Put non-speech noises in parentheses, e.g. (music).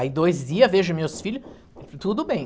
Aí dois dia, vejo meus filho, (unintelligible) tudo bem.